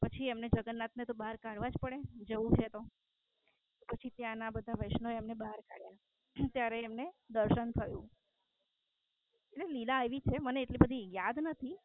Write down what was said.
પછી એમને જગન્નાથ ને તો બહાર કાઢવા જ પડે જવું છે તો પછી ત્યાં ના વૈષ્ણવો એ બહાર કાઢ્યા ત્યારે એમને દર્શન થયું એટલે લીલા એવી છે મને એટલી બધું યાદ નથી